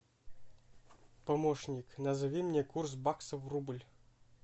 помощник назови мне курс бакса в рубль